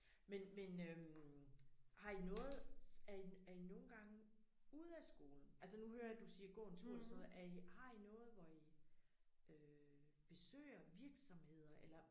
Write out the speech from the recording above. Men men øh har I noget er I er I nogle gange ude af skolen altså nu hører jeg du siger gå en tur eller sådan noget er I har I noget hvor I øh besøger virksomheder eller?